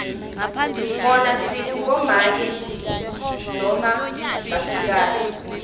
bona sitsi bomake noma basikati